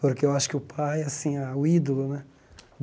Porque eu acho que o pai, assim, a o ídolo, né?